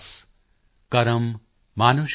ਕਰਮ ਮਾਨੁਸ਼ ਦਾ ਧਰਮ ਹੈ ਸਤ੍ ਭਾਖੈ ਰਵਿਦਾਸ॥